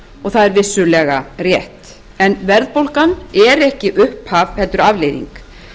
og það er vissulega rétt en verðbólgan er ekki upphaf heldur afleiðing